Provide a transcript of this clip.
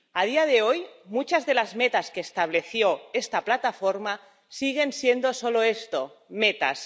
A día de hoy, muchas de las metas que estableció esta Plataforma siguen siendo solo esto —metas—.